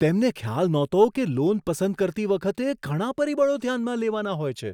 તેમને ખ્યાલ નહોતો કે લોન પસંદ કરતી વખતે ઘણાં પરિબળો ધ્યાનમાં લેવાનાં હોય છે!